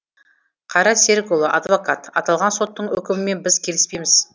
қайрат серікұлы адвокат аталған соттың үкімімен біз келіспейміз